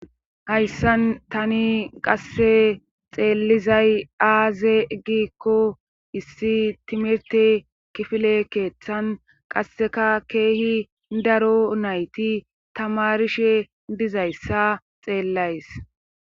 hayssan tani qasse xeellizay aaze giikko issi timirte kifile keeththan qasseka keehi daro nayti tamarishe dizayssa xeellays